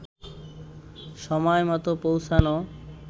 সময় মতো পৌঁছানো